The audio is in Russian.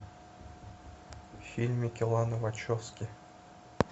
фильм ланы вачовски